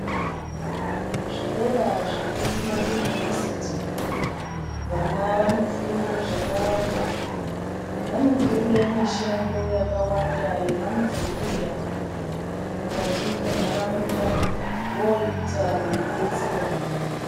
Kuzvikora zvekumayunivhesiti vana vanofunde zvakawanda. Vanofunde mishando yakawanda yevanozouya mukati menharaunda voita veibetsere nharaunda.